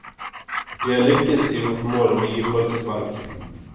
Vi har lykkes i vårt mål om å å gi folk et valg.